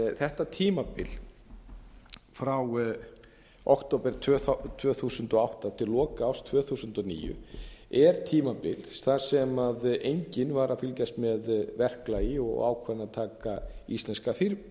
þetta tímabil frá október tvö þúsund og átta til loka árs tvö þúsund og níu er tímabil þar sem enginn var að fylgjast með verklagi og ákvarðanataka íslenska